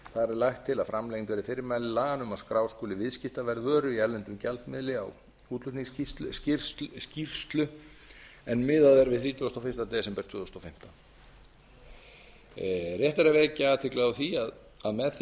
lagt til að framlengd verði fyrirmæli laganna um að skrá skuli viðskiptaverð vöru í erlendum gjaldmiðli á útflutningsskýrslu en miðað er við þrítugustu og fyrsta desember tvö þúsund og fimmtán rétt er að vekja athygli á því að með því